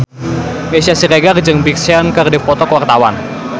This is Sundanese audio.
Meisya Siregar jeung Big Sean keur dipoto ku wartawan